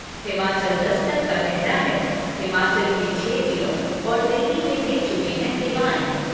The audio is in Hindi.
हिमाचल दस्तक का कहना है हिमाचल के छह जिलों और दिल्ली में दे चुके हैं सेवाएं।